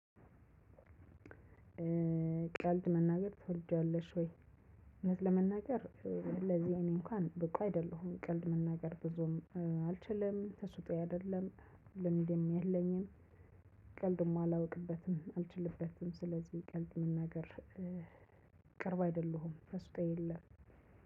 ቀልድ መናገር ትወዳለሽ ወይ? እውነት ለመናገር ለዚህ እኔ እንኳን ብቁ አይደለሁም። ቀልድ መናገር ብዙም አልችልም። ተሰጦዬ አይደለም ልምድም የለኝም። ቀልድም አላውቅበትም አልችልበትም ስለዚህ ቀልድ መናገር ቅርብ አይደለሁም ተሰጦ የለም።